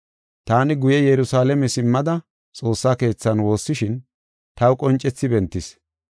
“Taani guye Yerusalaame simmada xoossa keethan woossishin, taw qoncethi bentis.